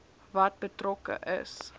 wat betrokke is